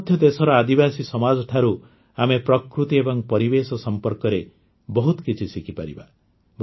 ଆଜି ମଧ୍ୟ ଦେଶର ଆଦିବାସୀ ସମାଜଠାରୁ ଆମେ ପ୍ରକୃତି ଏବଂ ପରିବେଶ ସମ୍ପର୍କରେ ବହୁତ କିଛି ଶିଖିପାରିବା